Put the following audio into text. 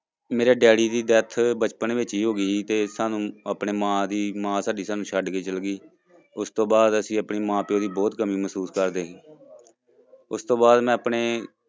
ਮੇਰੇ daddy ਦੀ death ਬਚਪਨ ਵਿੱਚ ਹੀ ਹੋ ਗਈ ਸੀ ਤੇ ਸਾਨੂੰ ਆਪਣੇ ਮਾਂ ਦੀ ਮਾਂ ਸਾਡੀ ਸਾਨੂੰ ਛੱਡ ਕੇ ਚਲੇ ਗਈ, ਉਸਤੋਂ ਬਾਅਦ ਅਸੀਂ ਆਪਣੇ ਮਾਂ ਪਿਓ ਦੀ ਬਹੁਤ ਕਮੀ ਮਹਿਸੂਸ ਕਰਦੇ ਉਸ ਤੋਂ ਬਾਅਦ ਮੈਂ ਆਪਣੇ